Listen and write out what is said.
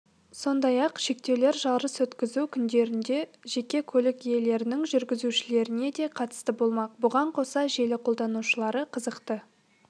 сондай-ақ шектеулер жарыс өткізу күндерінде жеке көлік иелерінің жүргізушілерінеде қатысты болмақ бұған қоса желі қолданушылары қызықты